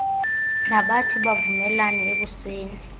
nabathi bavumelane ekusekeni